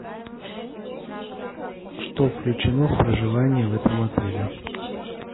что включено в проживание в этом отеле